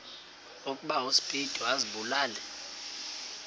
ukuba uspido azibulale